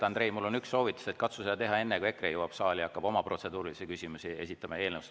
Andrei, mul on üks soovitus, katsu seda teha enne, kui EKRE saali jõuab ja oma protseduurilisi küsimusi ja eelnõusid esitama hakkab.